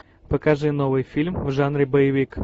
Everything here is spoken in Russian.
покажи новый фильм в жанре боевик